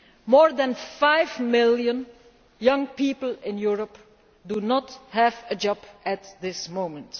More than five million young people in Europe do not have a job at this moment.